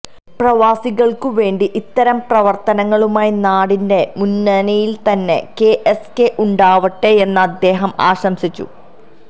പ്രവാസികള്ക്കുവേണ്ടി ഇത്തരം പ്രവ്രത്തനങ്ങളുമായി നാടിന്റെ മുന്നിരയില് തന്നെ കെ എസ് കെ ഉണ്ടാവട്ടെയെന്ന് അദ്ദേഹം ആശംസിച്ചു